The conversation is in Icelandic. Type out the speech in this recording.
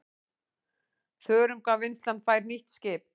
Þörungavinnslan fær nýtt skip